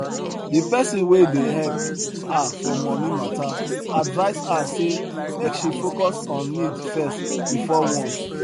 de pesin wey dey help her for moni mata advise her say make she focus on need first before want